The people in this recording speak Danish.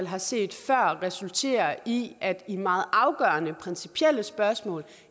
har set resulterer i at i meget afgørende principielle spørgsmål